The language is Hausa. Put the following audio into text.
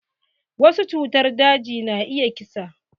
Wasu cutar daji na iya ƙisa.